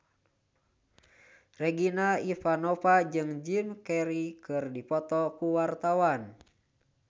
Regina Ivanova jeung Jim Carey keur dipoto ku wartawan